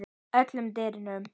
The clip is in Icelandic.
öllum dýrum